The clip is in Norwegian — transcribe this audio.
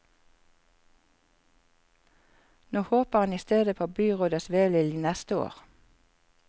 Nå håper han i stedet på byrådets velvilje neste år.